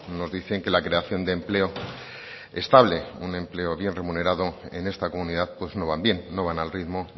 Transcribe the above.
nos dicen que la creación de empleo estable un empleo bien remunerado en esta comunidad pues no van bien no van al ritmo